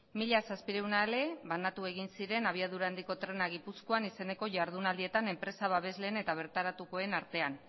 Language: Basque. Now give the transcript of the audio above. mila zazpiehun ale banatu egin ziren abiadura handiko trena gipuzkoan izeneko ihardunaldietan enpresa babesleen eta bertaratukoen artean